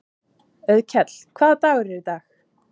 Auðkell, hvaða dagur er í dag?